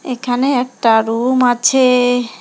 এখানে একটা রুম আছে।